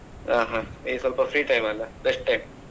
ಹಾ ಹಾ ಈಗ ಸ್ವಲ್ಪ free time ಅಲ್ಲ rest time .